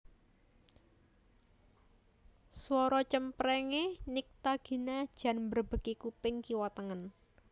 Suara cempreng e Nycta Gina jan mbrebeki kuping kiwa tengen